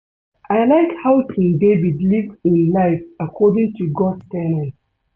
I like how King David live im life according to God's ten ets